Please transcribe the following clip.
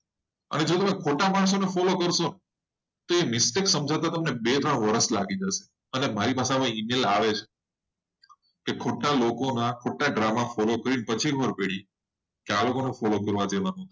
જો તમે ફોટા પાડ choose કરશો. ના તો mistake સમજતા. તમને બે ત્રણ વર્ષ લાગી જશે. અને મારી પાસે આવે છે ખોટા લોકોના ખોટા drama follow કરીને આ લોકોને follow કરવા જેવા નથી.